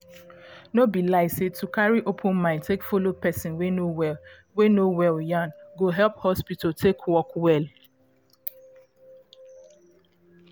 no be lie say to carry open mind take follow person wey no wey no well yan go help hospital dey work well